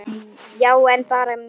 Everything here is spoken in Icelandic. Já, en bara með mér.